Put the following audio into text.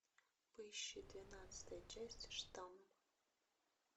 поищи двенадцатая часть штамм